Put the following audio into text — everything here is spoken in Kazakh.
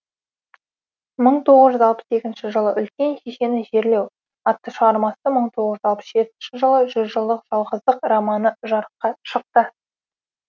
мың тоғыз жүз алпыс екінші жылы үлкен шешені жерлеу атты шығармасы мың тоғыз жүз алпыс жетінші жылы жүз жылдық жалғыздық романы жарыққа шықты